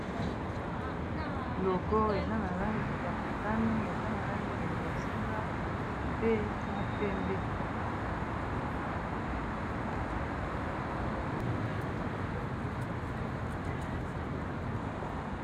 Logo eza na langi ya motani, eza na langi ya bozinga, pe na pembe.